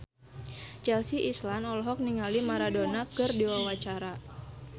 Chelsea Islan olohok ningali Maradona keur diwawancara